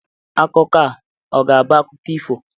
Akụkọ a ọ ga-abụ akụkọ ifo?